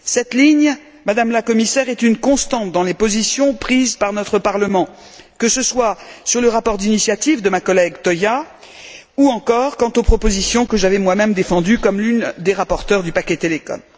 Cette ligne, Madame la Commissaire, est une constante dans les positions prises par notre Parlement, que ce soit sur le rapport d'initiative de ma collègue Toia, ou encore quant aux propositions que j'avais moi même défendues comme l'une des rapporteurs du paquet Télécom.